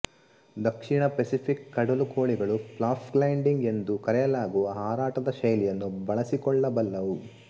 ದಕ್ಷಿಣ Pacific ಕಡಲುಕೋಳಿಗಳು flap gliding ಎಂದು ಕರೆಯಲಾಗುವ ಹಾರಾಟದ ಶೈಲಿಯನ್ನು ಬಳಸಿಕೊಳ್ಳಬಲ್ಲವು